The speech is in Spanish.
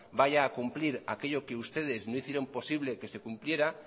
vaya a cumplir aquello que ustedes no hicieron posible que se cumpliera